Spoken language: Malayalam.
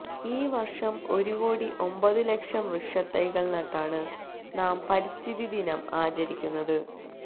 ഈ വർഷം ഒരുകോടി ഒമ്പതുലക്ഷം വൃക്ഷത്തൈകൾ നട്ടാണ് നാം പരിസ്ഥിതിദിനം ആചരിക്കുന്നത്